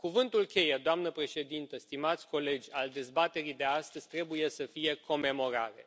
Cuvântul cheie, doamnă președintă, stimați colegi, al dezbaterii de astăzi trebuie să fie comemorare.